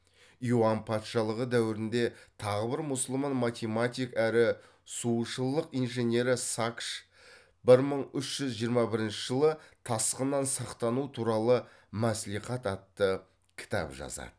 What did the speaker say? юан патшалығы дәуірінде тағы бір мұсылман математик әрі сушылық инженері сакыш бір мың үш жүз жиырма бірінші жылы тасқыннан сақтану туралы масілихат атты кітап жазады